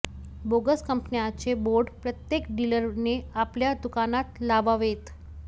bogus कंपन्यांचे board प्रत्येक डिलरने आपल्या दुकानात लावावेत